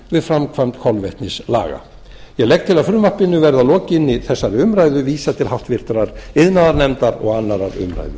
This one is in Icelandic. við framkvæmd kolvetnislaga ég legg til að frumvarpinu verði að lokinni þessari umræðu vísað til háttvirtrar iðnaðarnefndar og annarrar umræðu